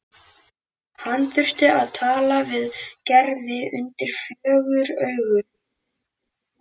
Hann þurfti að tala við Gerði undir fjögur augu.